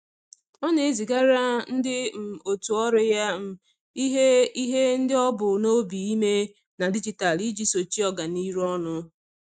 Ọ na-ezigara ndị um otu ọrụ ya um ihe ihe ndị o bu n'obi ime na dijitalụ iji sochie ọganihu ọnụ.